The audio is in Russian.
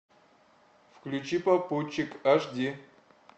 включи попутчик аш ди